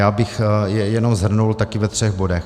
Já bych je jenom shrnul taky ve třech bodech.